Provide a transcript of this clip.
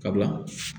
Sabula